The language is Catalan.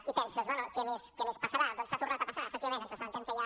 i penses bé què més passarà doncs ha tornat a passar efectivament ens assabentem que hi ha